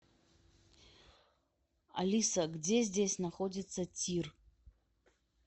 алиса где здесь находится тир